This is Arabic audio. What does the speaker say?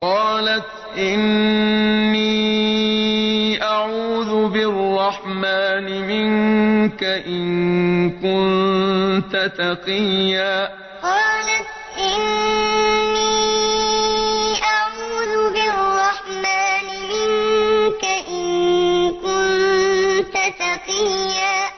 قَالَتْ إِنِّي أَعُوذُ بِالرَّحْمَٰنِ مِنكَ إِن كُنتَ تَقِيًّا قَالَتْ إِنِّي أَعُوذُ بِالرَّحْمَٰنِ مِنكَ إِن كُنتَ تَقِيًّا